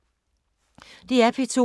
DR P2